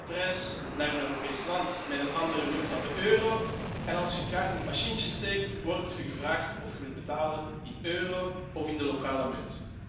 U gaat op reis naar een Europees land met een andere munt dan de euro, en als u uw kaart in het machientje steekt, wordt u gevraagd of u wilt betalen in euro of in de lokale munt.